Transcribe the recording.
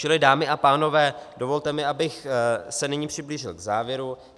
Čili, dámy a pánové, dovolte mi, abych se nyní přiblížil k závěru.